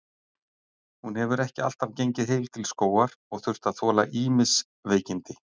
Hún hefur ekki alltaf gengið heil til skógar og þurft að þola ýmis veikindi.